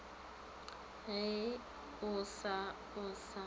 ge o sa o sa